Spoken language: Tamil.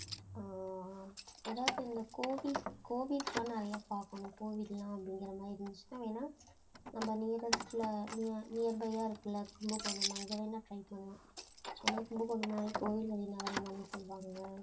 ஆஹ் எதாவது இந்த கோவில் கோவில்தான் நிறைய பாக்கணும், கோவில் எல்லாம் அப்படிங்கிற மாதிரி இருந்துச்சுன்னா, வேணா நம்ம nearest ல nea~ earby யா இருக்கில்லை கும்பகோணம் அங்க வேணா try பண்லாம் ஏன்னா கும்பகோணம்னா கோவில்களின் நகரம் தானே சொல்வாங்க